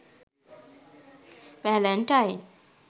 valentine